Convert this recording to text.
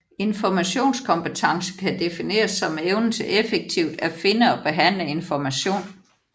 Informationskompetence kan defineres som evnen til effektivt at finde og behandle information